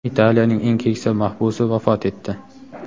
Italiyaning eng keksa mahbusi vafot etdi.